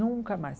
Nunca mais.